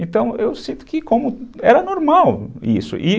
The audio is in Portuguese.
Então, eu sinto que era normal isso, e